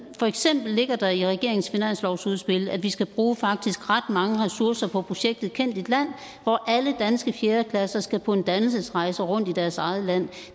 for eksempel ligger der i regeringens finanslovsudspil at vi faktisk skal bruge ret mange ressourcer på projektet kend dit land hvor alle danske fjerde klasser skal på en dannelsesrejse rundt i deres eget land